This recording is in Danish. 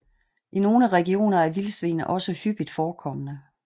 I nogle regioner er vildsvin også hyppigt forekommende